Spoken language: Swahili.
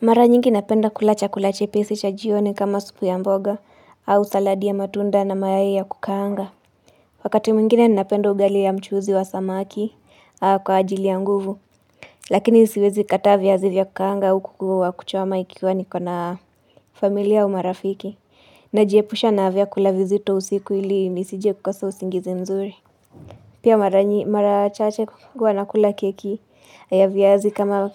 Mara nyingi napenda kula chakula chepesi cha jioni kama supu ya mboga au saladi ya matunda na mayai ya kukaanga. Wakati mwingine napenda ugali ya mchuzi wa samaki kwa ajili ya nguvu. Lakini siwezi kataa viazi vya kukaanga au kuku wa kuchoma ikiwa niko na familia au marafiki. Najiepusha na vyakula vizito usiku ili nisije kukosa usingizi nzuri. Pia mara chache huwa nakula keki na viazi kama